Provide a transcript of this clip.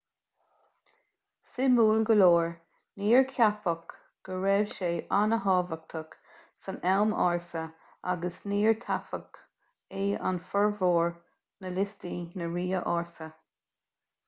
suimiúil go leor níor ceapadh go raibh sé an-tábhachtach san am ársa agus níor taifeadadh é ar fhormhór na liostaí na ríthe ársa